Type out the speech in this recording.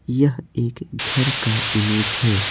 यह एक घर का इमेज है।